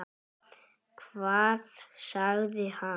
Hvað sagði hann?